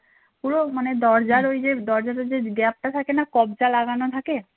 পুরো দরজার ঐ দরজাটা যে gap টা থাকে না কব্জা লাগানো থাকে